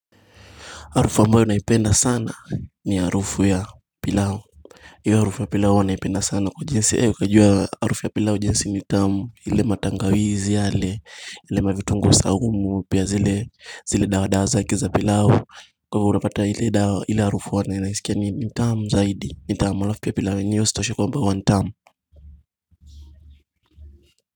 Harufu ambayo naipenda sana ni harufu ya pilau hiyo harufu ya pilau huwa naipenda sana kwa jinsi, ukijuwa harufu ya pilau jinsi ni tamu ile matangawizi yale, ile mavitungue saumu pia zile dawa zake za pilau. Kwa hivyo unapata ile dawa, iile harufu huwa naisikia ni tamu zaidi, ni tamu alafu ya pilau yenyewe isitoshe kwamba huwa ni tamu.